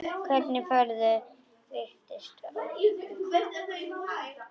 Hvernig færðu vistir og svona?